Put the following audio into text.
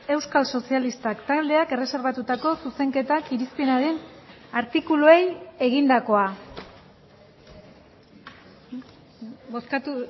euskal sozialistak taldeak erreserbatutako zuzenketak irizpenaren artikuluei egindakoa bozkatu